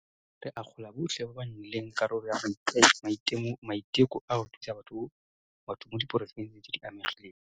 Re akgola botlhe ba ba nnileng karolo ya maiteko a go thusa batho mo diporofenseng tse di amegileng.